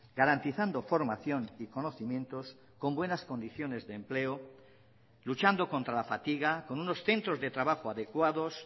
garantizando formación y conocimientos con buenas condiciones de empleo luchando contra la fatiga con unos centros de trabajo adecuados